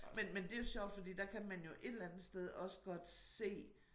Men men det jo sjovt fordi der kan man jo et eller andet sted også godt se